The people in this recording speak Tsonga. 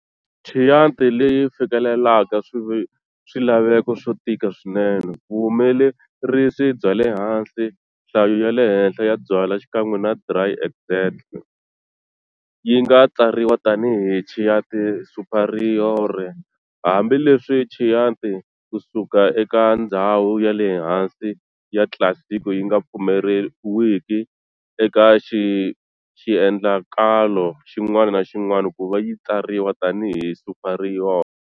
Chianti leyi fikelelaka swilaveko swo tika swinene, vuhumelerisi byale hansi, nhlayo yale henhla ya byala xikan'we na dry extract, yinga tsariwa tani hi Chianti Superiore, hambi leswi Chianti kusuka eka ndzhawu yale hansi ya Classico yinga pfumeleriwi eka xiendlakalo xin'wana na xin'wana kuva yi tsariwa tani hi Superiore.